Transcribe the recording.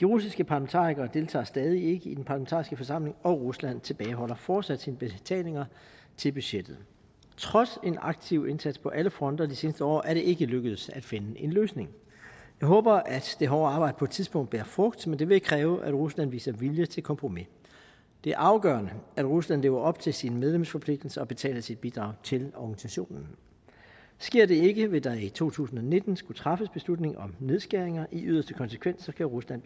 de russiske parlamentarikere deltager stadig ikke i den parlamentariske forsamling og rusland tilbageholder fortsat sine betalinger til budgettet trods en aktiv indsats på alle fronter det seneste år er det ikke lykkedes at finde en løsning jeg håber at det hårde arbejde på et tidspunkt bærer frugt men det vil kræve at rusland viser vilje til kompromis det er afgørende at rusland lever op til sine medlemsforpligtelser og betaler sit bidrag til organisationen sker det ikke vil der i to tusind og nitten skulle træffes beslutning om nedskæringer i yderste konsekvens kan rusland